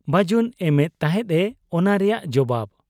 ᱵᱟᱹᱡᱩᱱ ᱮᱢᱮᱫ ᱛᱟᱦᱮᱸᱫ ᱮ ᱚᱱᱟ ᱨᱮᱭᱟᱜ ᱡᱚᱵᱟᱵᱽ ᱾